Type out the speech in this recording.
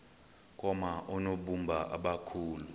koma oonobumba abakhulu